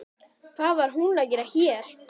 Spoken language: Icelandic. Hvað var hún að gera hér?